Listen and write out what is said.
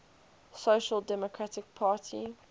social democratic party